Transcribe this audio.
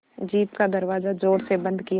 jeep का दरवाज़ा ज़ोर से बंद किया